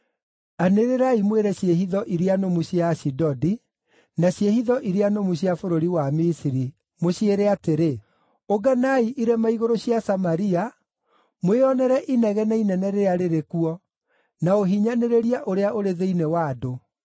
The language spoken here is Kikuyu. Anĩrĩrai mwĩre ciĩhitho iria nũmu cia Ashidodi, na ciĩhitho iria nũmu cia bũrũri wa Misiri ũciĩre atĩrĩ: “Ũnganai irĩma igũrũ cia Samaria, mwĩonere inegene inene rĩrĩa rĩrĩ kuo, na ũhinyanĩrĩria ũrĩa ũrĩ thĩinĩ wa andũ.”